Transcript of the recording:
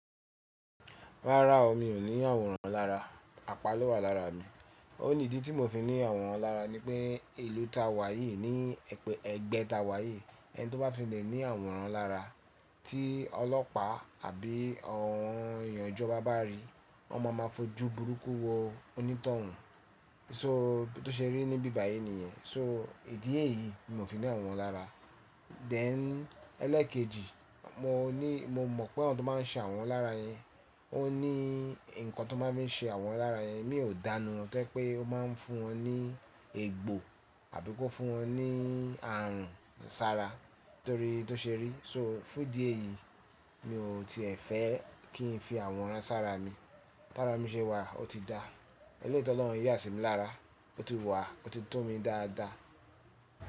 Rárá o, mi ò ní àwòrán lára, apá ló wà lára mi. Ó ní ìdí tí mò fi ní àwòrán lára ni pé ìlú tá wà yìí ní ẹgbẹ́ tá wà yìí, ẹni tí ó bá fi lè ní àwòrán lára tí ọlọ́pàá àbí àwọn èèyàn ìjọba bá rí, wọ́n máa ma fojú burúkú wo onítọ̀hún. So tó ṣe rí ní bíbà yìí nìyẹn. So ìdí é yìí ni mò fi ní àwòrán lára. Then ẹlẹ́ẹ̀kejì, mo mọ̀ pé àwọn tó máa ń ṣe àwòrán lára yẹn, ó ní nǹkan tó máa ń fi ṣe àwòrán lára yẹn, mi ò dánù wọ́n pé ó máa ń fún wọn ní egbò àbí kó fún wọn ní ààrùn sára torí tó ṣe rí. So fún ìdí èyí, mi ò tiẹ̀ fẹ́ kí n fi àwòrán sára mi. Tára mi ṣe wà ó ti dáa. Ẹlẹ́yì tỌ lọ̀run yà sí mi lára, ó ti wà ó ti tún mi dáadáa.